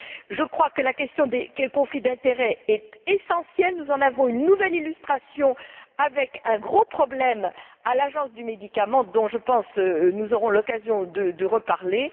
Je crois que la question des conflits d'intérêt est essentielle, nous en avons une nouvelle illustration avec un gros problème à l'Agence des médicaments dont, je pense, nous aurons l'occasion de reparler.